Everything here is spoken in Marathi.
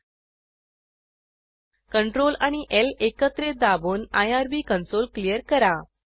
सीआरटीएल आणि ल एकत्रित दाबून आयआरबी कन्सोल क्लियर करा